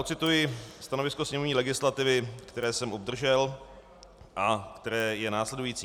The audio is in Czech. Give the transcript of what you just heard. Ocituji stanovisko sněmovní legislativy, které jsem obdržel a které je následující: